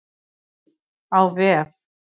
Á vef